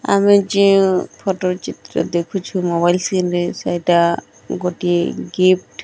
ଆମେ ଯେଉଁ ଫଟ ଚିତ୍ର ଦେଖୁଛୁ। ମୋବାଇଲ ସିମ ଏଟା ଗୋଟେ ଗିଫ୍ଟ ।